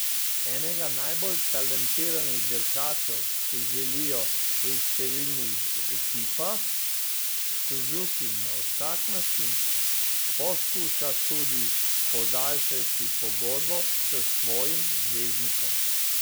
Enega najbolj talentiranih dirkačev si želijo pri številnih ekipah, Suzuki na vsak način poskuša tudi podaljšati pogodbo s svojim zvezdnikom.